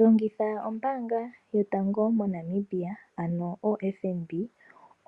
Longitha ombaanga yotango moNamibia ano FNB